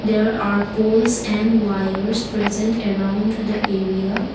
there are poles and wires present around the area.